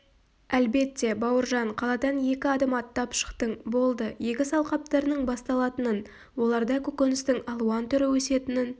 әлбетте бауыржан қаладан екі адым аттап шықтың болды егіс алқаптарының басталатынын оларда көкөністің алуан түрі өсетінін